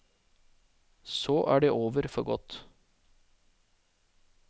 Så er det over for godt.